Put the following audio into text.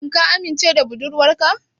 Shin ka amince da budurwarka?